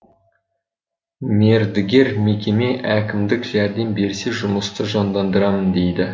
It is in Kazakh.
мердігер мекеме әкімдік жәрдем берсе жұмысты жандандырамын дейді